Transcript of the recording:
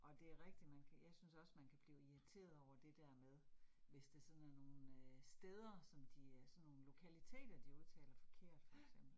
Og det rigtigt, man kan jeg synes også man kan blive irriteret over det der med, hvis det sådan er nogle øh steder, som de øh sådan nogle lokaliteter, de udtaler forkert for eksempel